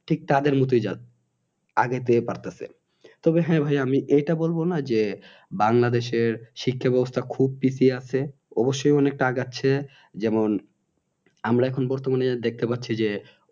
ঠিক তাদের মতই আগের থেকে পারতেছে তবে হ্যাঁ ভাই আমি এটা বল বা না যে বাংলাদেশের শিক্ষা ব্যাবস্থা খুব পিছিয়ে আছে অবশ্যই অনেকটা আগাচ্ছে যেমন আমরা এখন বর্তমানে দেখতে পারছি যে